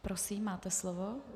Prosím, máte slovo.